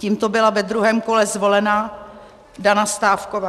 Tímto byla ve druhém kole zvolena Jana Stávková.